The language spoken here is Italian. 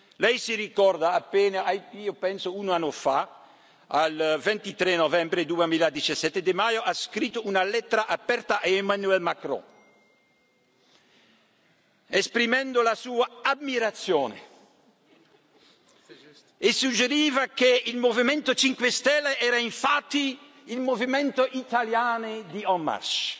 Lei ricorda che appena un anno fa, penso, il 23 novembre 2017, Di Maio ha scritto una lettera aperta a Emmanuel Macron, esprimendo la sua ammirazione e suggeriva che il Movimento 5 Stelle era infatti il movimento italiano di En marche